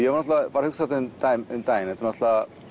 varð hugsað um daginn um daginn það er